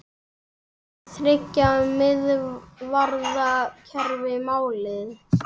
Er þriggja miðvarða kerfi málið?